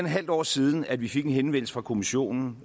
halvt år siden at vi fik en henvendelse fra kommissionen